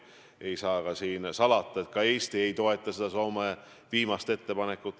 Ei saa salata, et ka Eesti ei toeta Soome viimast ettepanekut.